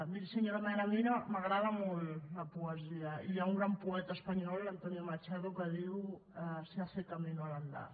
miri senyor mena a mi m’agrada molt la poesia i hi ha un gran poeta espanyol antonio machado que diu se hace camino al andar